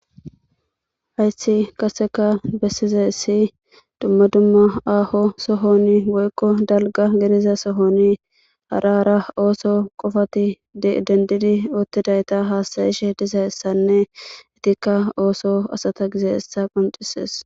hayssi qaseka bessize ssi dumma dumma aaho sohoni woykko dalga geriza sohoni hara ara ooso qofati dendidi oottidayta haastayishe dizayssanne itikka ooso asata gizeessa qoncisees